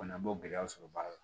Fana n b'o gɛlɛyaw sɔrɔ baara la